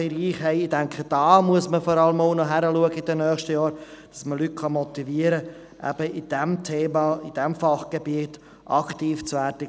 Dort, denke ich, muss man in den nächsten Jahren vor allem hinschauen, damit Leute motiviert werden können, in diesem Thema, in diesem Fachgebiet aktiv zu werden.